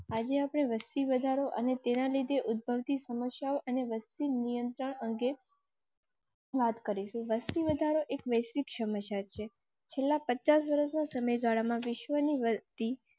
આજે આપણે વસતી વધારો અને તેના લીધે ઉદભવ તી સમસ્યાઓ અને વસ્તી નિયંત્રણ અંગે. વાત કરીશું. વસ્તી વધારો એક વૈશ્વિક સમસ્યા છે. છેલ્લાં પચાસ વર્ષના સમય ગાળામાં વિશ્વની વસતી